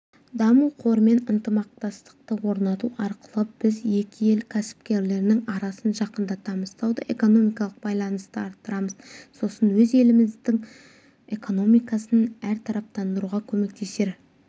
даму қорымен ынтымақтастықты орнату арқылы біз екі ел кәсіпкерлерінің арасын жақындатамыз сауда-экономикалық байланысты арттырамыз сосын өз елдеріміздің экономикасын әртараптандыруға көмектесер